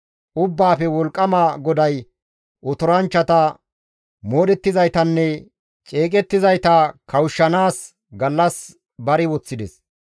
Ubbaafe wolqqama GODAY Otoranchchata, moodhettizaytanne ceeqettizayta kawushshanaas gallas bari woththides.